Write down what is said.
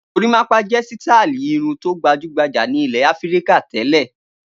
Gorímápá jẹ́ sítáálì irun tó gbajú-gbajà ní ilẹ̀ Áfíríkà tẹ́lẹ̀.